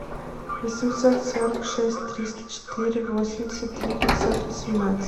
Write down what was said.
восемьсот сорок шесть триста четыре восемьдесят три пятьсот восемнадцать